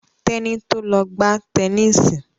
Teni to lọ gbà Tẹníìsì.